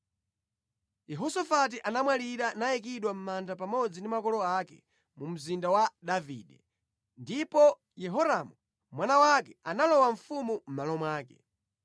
Yehosafati anamwalira nayikidwa mʼmanda pamodzi ndi makolo ake mu mzinda wa Davide. Ndipo Yehoramu mwana wake analowa ufumu mʼmalo mwake.